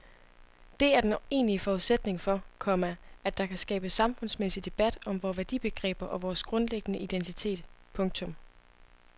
Det er den egentlige forudsætning for, komma at der kan skabes samfundsmæssig debat om vore værdibegreber og vores grundlæggende identitet. punktum